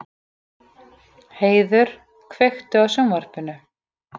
Heiður, kveiktu á sjónvarpinu.